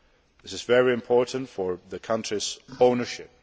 This is very important for the country's ownership.